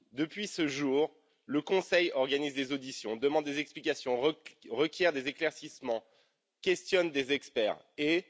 Depuis ce jour, le Conseil organise des auditions, demande des explications, requiert des éclaircissements, questionne des experts et...